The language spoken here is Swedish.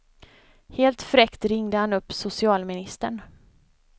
Helt fräckt ringde han upp socialministern.